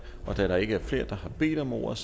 da der ikke er flere der har bedt om ordet